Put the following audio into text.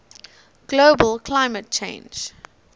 global climate change